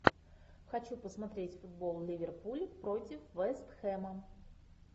хочу посмотреть футбол ливерпуль против вест хэма